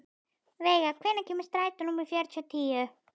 Veiga, hvenær kemur strætó númer fjörutíu og níu?